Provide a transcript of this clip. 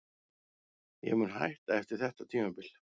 Ég mun hætta eftir þetta tímabil.